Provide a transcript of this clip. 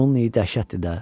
Bunun iyi dəhşətdir də.